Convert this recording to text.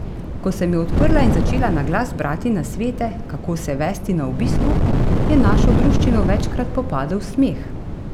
Ko sem jo odprla in začela na glas brati nasvete, kako se vesti na obisku, je našo druščino večkrat popadel smeh.